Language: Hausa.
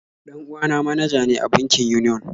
Dan uwa na manaja ne a bankin Union